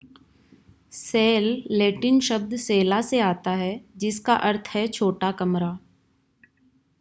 cell Latin शब्द सेला से आता है जिसका अर्थ है छोटा कमरा